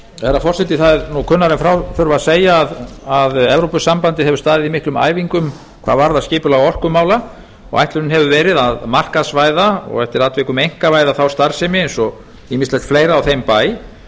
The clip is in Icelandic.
herra forseti það er nú kunnara en frá þurfi að segja að evrópusambandið hefur staðið í miklum æfingum hvað varðar skipulag orkumála og ætlunin hefur verið að markaðsvæða og eftir atvikum einkavæða þá starfsemi eins og ýmislegt fleira á þeim bæ